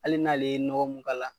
Hali n'ale ye nɔgɔ mun k'a la,